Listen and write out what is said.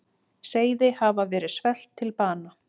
Seiði hafa verið svelt til bana.